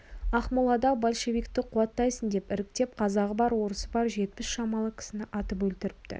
ақмолада большевикті қуаттайсың деп іріктеп қазағы бар орысы бар жетпіс шамалы кісіні атып өлтіріпті